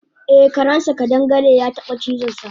Eh karensa ƙadangare yataba cizonsa